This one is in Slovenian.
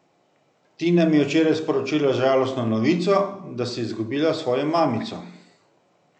Tina mi je včeraj sporočila žalostno novico, da si izgubila svojo mamico.